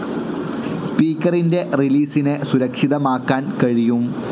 സ്പീക്കറിൻ്റെ റിലീസിനെ സുരക്ഷിതമാക്കാൻ കഴിയും.